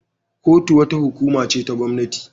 Kotu wata hukuma ce ta gwamnati.